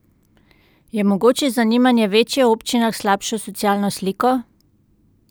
Je mogoče zanimanje večje v občinah s slabšo socialno sliko?